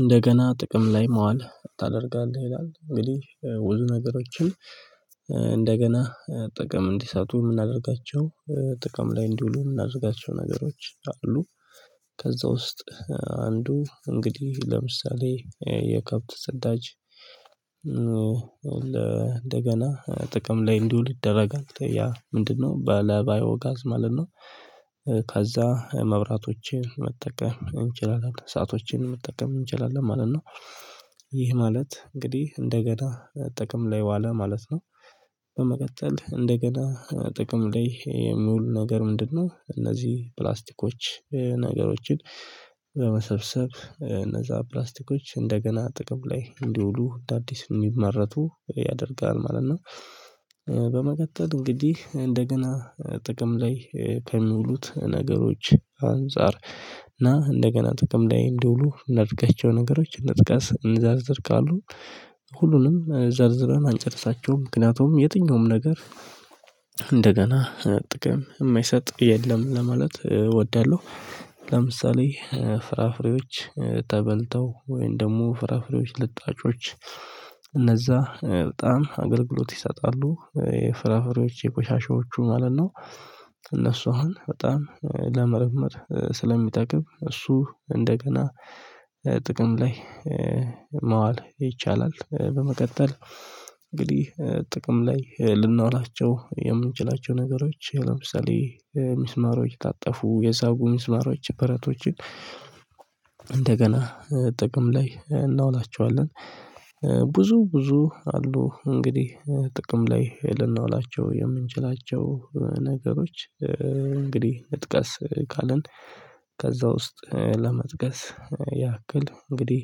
እንደገና ጥቅም ላይ መዋል ታደርጋለህ ይላል እንግዲህ ውዝ ነገሮችን እንደገና ጥቅም እንዲሳቱ የምናደርጋቸው ጥቅም ላይ እንዲውሉ የምናዘጋጀው ነገሮች አሉ። ከዛ ውስጥ አንዱ እንግዲህ ለምሳሌ የከብት ጸዳጅ እንደገና ጥቅም ላይ እንዲውል ይደረጋል ያ ምንድነው በለ ባዮ ጋዝ ማለት ነው። ከዛ መብራቶቼን መጠቀም እንችላለን ሰአቶቼን መጠቀም እንችላለን ማለት ነው። ይህ ማለት እንግዲህ እንደገና ጥቅም ላይ ዋለ ማለት ነው። በመቀጠል እንደገና ጥቅም ላይ የሚውሉ ነገር ምንድነው? እነዚህ ፕላስቲኮች ነገሮችን በመሰብሰብ እነዛ ፕላስቲኮች እንደገና ጥቅም ላይ እንዲውሉ አዲስ ነው የሚመረቱ ያደርጋል ማለት ነው። በመቀጠል እንግዲህ እንደገና ጥቅም ላይ ከሚውሉት ነገሮች አንፃር እና እንደገና ጥቅም ላይ እንዲውሉ እንዳድገቸው ነገሮች እንጥቀስ እንዘርዝር ካሉ። ሁሉንም ዘርዝረን አንጨርሳቸውም ምክንያቱም የትኛውም ነገር እንደገና ጥቅም የማይሰጥ የለም ለማለት እወዳለሁ። ለምሳሌ ፍራፍሬዎች ተበልተው ወይም ደግሞ ፍራፍሬዎች ልጣጮች በጣም አገልግሎት ይሰጣሉ የፍራፍሬዎች የቆሻሻዎቹ ማለት ነው። እነሱ አሁን በጣም ለመርመር ስለሚጠቅብ እሱ እንደገና ጥቅም ላይ ማዋል ይቻላል። በመቀጠል እንግዲህ ጥቅም ላይ ልንዋላቸው የምንችላቸው ነገሮች ለምሳሌ ሚስማሮች የታጠፉ የሳቡ ሚስማሮ በረቶችን እንደገና ጥቅም ላይ እናውላቸዋለን። ብዙ ብዙ አሉ እንግዲህ ጥቅም ላይ ልናውላቸው የምንችላቸው ነገሮች እንግዲህ እንጥቀስ ካልን ከዛ ውስጥ ለመጥቀስ ያክል እንግዲህ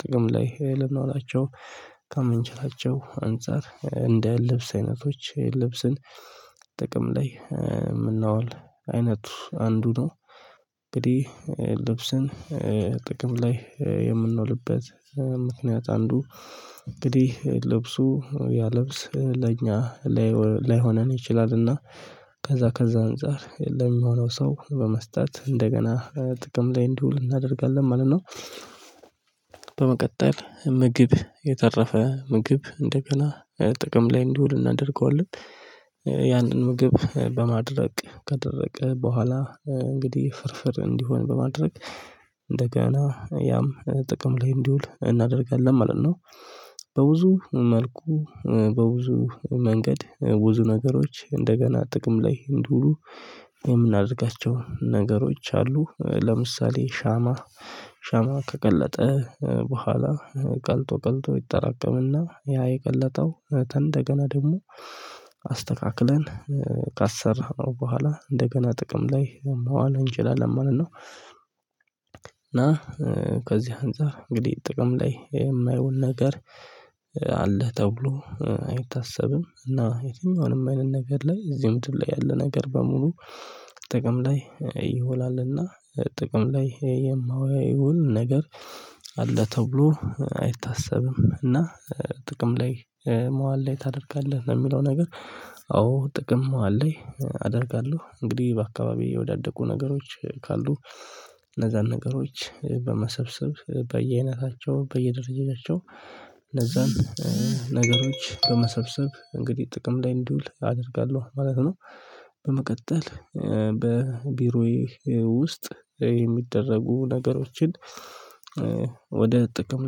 ጥቅም ላይ ልናውላቸው ከምንችላቸው አንፃር እንደ ልብስ አይነቶች ልብስን ጥቅም ላይ ምናውል አይነቱ አንዱ ነው። እንግዲህ ልብስን ጥቅም ላይ የምንውልበት ምክንያት አንዱ እንግዲህ ልብሱ ያ ልብስ ለኛ ላይ ላይሆነን ይችላልና ከዛ ከዛ አንፃር የለሚሆነው ሰው በመስጠት እንደገና ጥቅም ላይ እንዲውል እናደርጋለን ማለት ነው። በመቀጠል ምግብ የተረፈ ምግብ እንደገና ጥቅም ላይ እንዲውል እናደርገዋለን። ያንን ምግብ በማድረቅ ከደረቀ በኋላ እንግዲህ ፍርፍር እንዲሆን በማድረግ እንደገና ያም ጥቅም ላይ እንዲውል እናደርጋለን ማለት ነው። በብዙ መልኩ በብዙ መንገድ ብዙ ነገሮች እንደገና ጥቅም ላይ እንዲውሉ የምናደርጋቸው ነገሮች አሉ ለምሳሌ ሻማ ሻማ ከቀለጠ በኋላ ቀልጦ ቀልጦ ይጠራቀምና ያ የቀለጠው እንደገና ደግሞ አስተካክለን ካሰራነው በኋላ እንደገና ጥቅም ላይ መዋል እንችላለን መለትነው ነው። እና ከዚህ አንፃር እንግዲህ ጥቅም ላይ የማየውል ነገር አለህ ተብሎ አይታሰብም እና የትም አሁንም አይነት ነገር ላይ እዚህም ድር ላይ ያለ ነገር በሙሉ ጥቅም ላይ ይውላልና። ጥቅም ላይ የማውያ ይውል ነገር አለ ተብሎ አይታሰብም እና ጥቅም ላይ መዋል ላይ ታደርጋለህ የሚለው ነገር። አዎ ጥቅም መዋል ላይ አደርጋለሁ እንግዲህ በአካባቢው የወዳደቁ ነገሮች ካሉ እነዛን ነገሮች በመሰብሰብ በየአይነታቸው በየደረጃቸው እነዛን ነገሮች በመሰብሰብ እንግዲህ ጥቅም ላይ እንዲውል አደርጋለሁ ማለት ነው። በመቀጠል በቢሮዬ ውስጥ የሚደረጉ ነገሮችን ወደ ጥቅም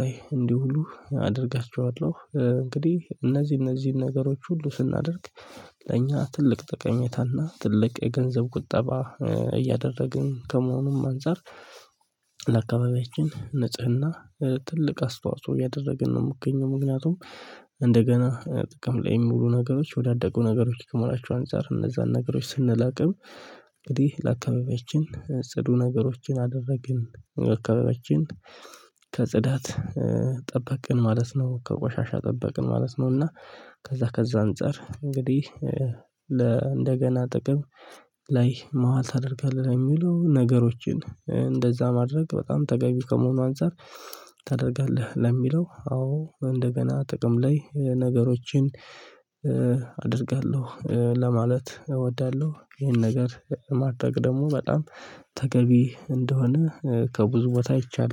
ላይ እንዲሁ ሁሉ አደርጋቸዋለሁ። እንግዲህ እነዚህ እነዚህን ነገሮች ሁሉ ስናደርግ ለኛ ትልቅ ተቀሜታና ትልቅ የገንዘብ ቁጠባ እያደረግን ከመሆኑም አንፃር። ለአካባቢያችን ንጽህና ትልቅ አስተዋጽኦ ያደረግን ነው የምገኘው ምክንያቱም። እንደገና ጥቅም ላይ የምሉ ነገሮች የ ወዳደቁ ነገሮች ከመሆናቸው አንፃር እነዛን ነገሮች ስንላቀም እንግዲህ ለአካባቢያችን ጽዱ ነገሮችን አደረግን። ለአካባቢያችን ከፅዳት ጠበቅን ማለት ነው ከቆሻሻ ጠበቅን ማለት ነው። እና ከዛ ከዛ አንፃር እንግዲህ ለ እንደገና ጥቅም ላይ መዋል ታደርጋለህ የሚሉ ነገሮችን እንደዛ ማድረግ በጣም ተገቢ ከመሆኑ አንፃር። ታደርጋለህ ለሚለው አዎ እንደገና ጥቅም ላይ ነገሮችን አደርጋለሁ ለማለት እወዳለሁ። ይህን ነገር ማድረግ ደግሞ በጣም ተገቢ እንደሆነ ከብዙ ቦታ አይቻለሁ